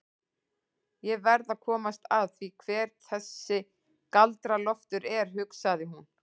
Ég verð að komast að því hver þessi Galdra-Loftur er, hugsaði hún.